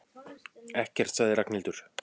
Ekkert sagði Ragnhildur.